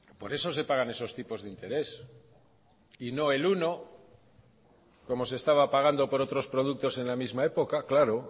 por eso se pagan esos tipos de interés y no el uno como se estaba pagando por otros productos en la misma época claro